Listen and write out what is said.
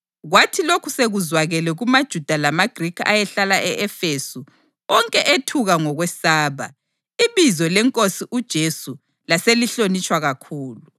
Kwathi lokhu sekuzwakele kumaJuda lamaGrikhi ayehlala e-Efesu, onke ethuka ngokwesaba, ibizo leNkosi uJesu laselihlonitshwa kakhulu.